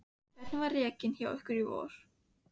Hvernig var rekinn hjá ykkur í vor?